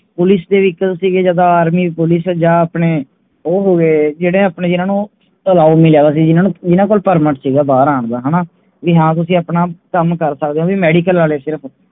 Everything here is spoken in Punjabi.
Police ਦੇ Vehicle ਸੀਗੇ ਜਾਂ Army ਜਾ ਉਹਦੇ ਜਿੰਦਾ ਆਪਣੇ Allow ਸੀਗੇ ਪਰਮਿਟ ਸੀਗਾ ਬਾਹਰ ਹੇਗਾ